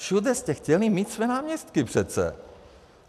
Všude jste chtěli mít své náměstky přece!